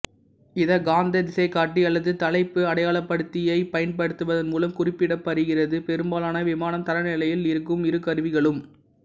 இது காந்த திசைகாட்டி அல்லது தலைப்பு அடையாளப்படுத்தியைப் பயன்படுத்துவதன் மூலம் குறிப்பிடப்படுகிறது பெரும்பாலான விமானம் தரநிலையில் இருக்கும் இரு கருவிகளும்